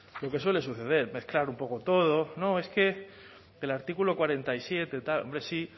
lo que suele suceder mezclar un poco todo no es que el artículo cuarenta y siete tal hombre sí